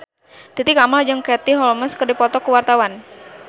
Titi Kamal jeung Katie Holmes keur dipoto ku wartawan